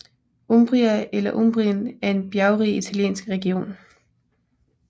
Umbria eller Umbrien er en bjergrig italiensk region